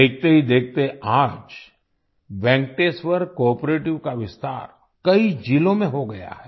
देखते ही देखते आज वेंकटेश्वर कोआपरेटिव का विस्तार कई जिलों में हो गया है